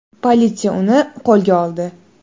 Politsiya uni qo‘lga oldi.